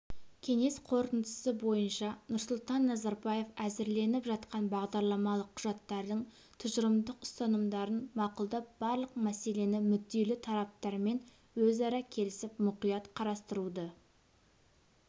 кеңес қорытындысы бойынша нұрсұлтан назарбаев әзірленіп жатқан бағдарламалық құжаттардың тұжырымдық ұстанымдарын мақұлдап барлық мәселені мүдделі тараптармен өзара келісіп мұқият қарастыруды